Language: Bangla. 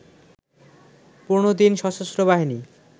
১৫ দিন সশস্ত্রবাহিনী